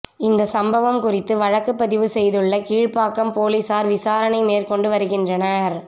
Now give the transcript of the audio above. இந்த சம்பவம் குறித்து வழக்குப் பதிவு செய்துள்ள கீழ்ப்பாக்கம் போலீசார் விசாரணை மேற்கொண்டு வருகின்றனர்